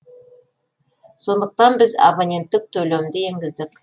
сондықтан біз абоненттік төлемді енгіздік